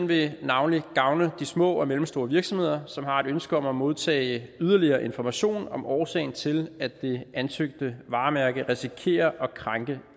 vil navnlig gavne de små og mellemstore virksomheder som har et ønske om at modtage yderligere information om årsagen til at det ansøgte varemærke risikerer at krænke